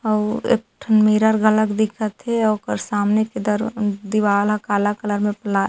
अऊ एक ठन मिरर घलक दिखत हे ओकर सामने के दर दीवाल ह काला कलर म पला--